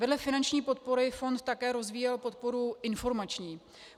Vedle finanční podpory fond také rozvíjel podporu informační.